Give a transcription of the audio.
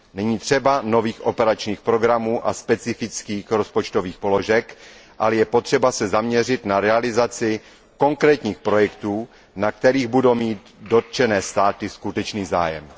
Není třeba nových operačních programů a specifických rozpočtových položek, ale je potřeba se zaměřit na realizaci konkrétních projektů, na kterých budou mít dotčené státy skutečný zájem.